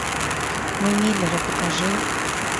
мы миллеры покажи